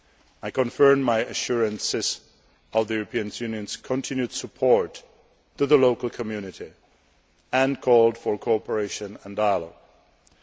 I confirmed my assurances of the European Union's continued support to the local community and called for cooperation and dialogue.